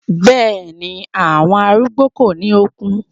Bẹ́ẹ̀ni, àwọn arúgbó kò ní okun.